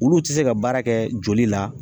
Olu ti se ka baara kɛ joli la